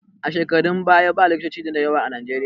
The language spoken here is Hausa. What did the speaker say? A shekarun baya ba likitoci da yawa a Najeriya